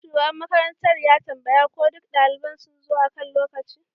Shugaban makarantar ya tambaya ko duk daliban sun zo akan lokaci